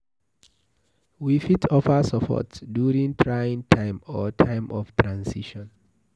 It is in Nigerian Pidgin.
We fit offer support during trying time or time of transition